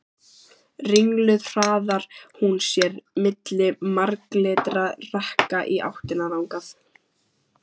Ringluð hraðar hún sér milli marglitra rekka í áttina þangað.